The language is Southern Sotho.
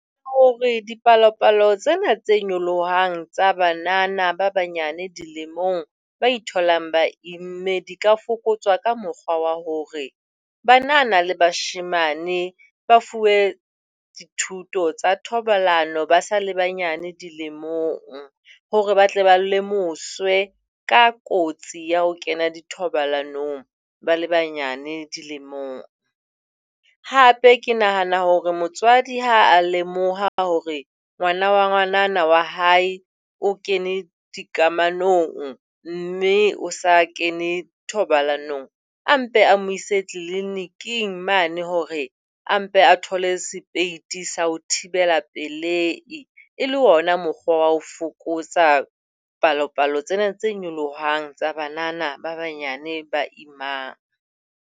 Hore dipalopalo tsena tse nyolohang tsa banana ba banyenyane dilemong ba tholang ba imme di ka fokotswa ka mokgwa wa hore banana le bashemane ba fuwe dithuto tsa thobalano ba sa le banyenyane dilemong hore ba tle ba lemoswe ka kotsi ya ho kena dithobalanong ba le banyenyane dilemong. Hape ke nahana hore motswadi ha a lemoha hore ngwana wa ngwanana wa hae o kene dikamanong mme o sa kene thobalanong. A mpe a mo ise tliliniking mane, hore a mpe a thole sepeiti sa ho thibela pelei e le hona mokgwa wa ho fokotsa palopalo tsena tse nyolohang tsa banana ba banyane ba imang.